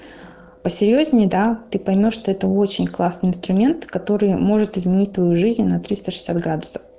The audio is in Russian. посерьёзнее да ты поймёшь что это очень классный инструмент который может изменить твою жизнь на триста шестьдесят градусов